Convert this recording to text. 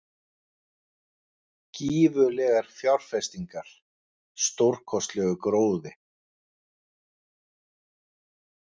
Gífurlegar fjárfestingar- stórkostlegur gróði.